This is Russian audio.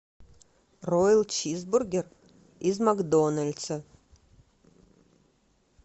роял чизбургер из макдональдса